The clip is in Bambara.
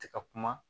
Ti ka kuma